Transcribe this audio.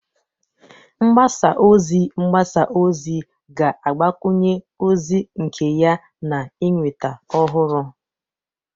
mgbasa ozi mgbasa ozi ga-agbakwunye ozi nke ya na ịnweta ọhụrụ